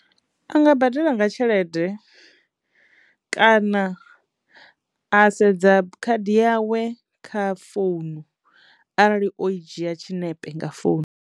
A nga badela nga tshelede kana a sedza khadi yawe kha founu arali o i dzhia tshiṋepe nga founu.